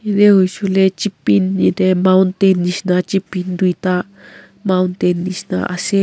yadae hoishae koilae yadae mountain nishina toita mountain nishina asae.